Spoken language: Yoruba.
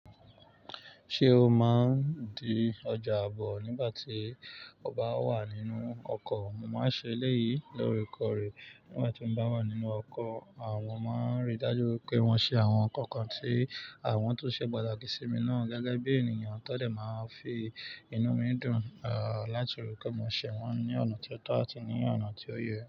Ṣé o máa ń di ọjà ààbò nígbà tí o bá wà nínú ọkọ̀? Mo máa ń ṣe eléyìí loorekoore nígbà tí mo bá wà nínú ọkọ̀. Àwọn máa ń rí i dájú wipé wọ́n ṣe àwọn nǹkan kan tí àwọn tó ṣe pataki sí mi gẹ́gẹ́ bí ènìyàn ti won dẹ̀ máa ń fi inú mi dùn, láti rí i pé mo ṣé wọ́n ní ọ̀nà tí ó tọ́ àti ní ọ̀nà tí ó yẹ.